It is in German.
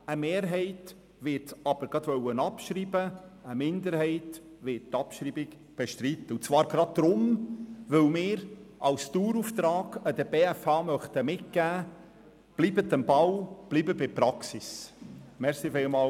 Die Mehrheit wird es gleich abschreiben wollen, und eine Minderheit wird die Abschreibung bestreiten, weil wir der BFH als Dauerauftrag mitgeben möchten, dass sie am Ball und bei der Praxis bleiben soll.